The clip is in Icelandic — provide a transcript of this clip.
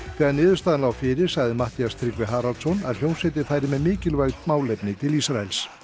þegar niðurstaðan lá fyrir sagði Matthías Tryggvi Haraldsson að hljómsveitin færi með mikilvæg málefni til Ísraels